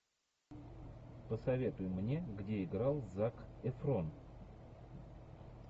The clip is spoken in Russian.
посоветуй мне где играл зак эфрон